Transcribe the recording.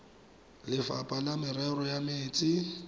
lefapha la merero ya metsi